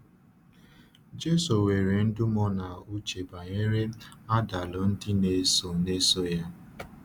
Jésù were ndúmó n’uche banyere àdàlù ndị na-eso na-eso ya.